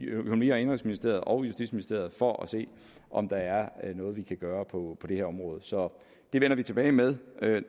økonomi og indenrigsministeriet og justitsministeriet for at se om der er noget vi kan gøre på det her område så det vender vi tilbage med